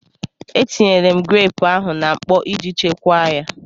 E tinyela m greepụ ahụ na mkpọ iji chekwaa ya.